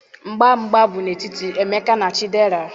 mgba mgba bụ n'etiti Emeka na Chidera.